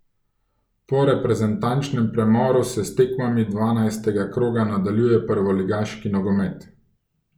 Po reprezentančnem premoru se s tekmami dvanajstega kroga nadaljuje prvoligaški nogomet.